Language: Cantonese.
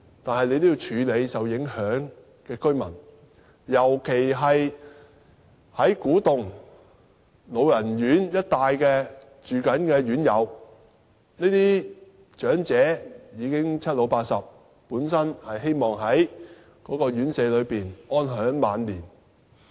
但是，局長要處理受影響居民，尤其古洞一帶老人院的院友，這些長者已經年邁，本身希望在院舍安享晚年。